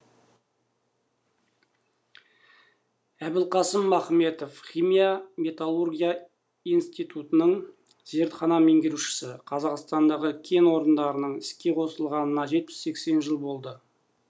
әбілқасым ахметов химия металлургия институтының зертхана меңгерушісі қазақстандағы кен орындарының іске қосылғанына жетпіс сексен жыл болды